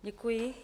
Děkuji.